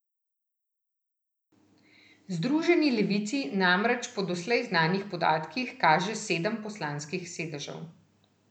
Združeni levici namreč po doslej znanih podatkih kaže sedem poslanskih sedežev.